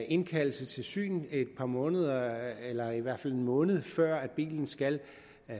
indkaldelse til syn et par måneder eller i hvert fald en måned før bilen skal